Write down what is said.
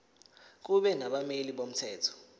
kube nabameli bomthetho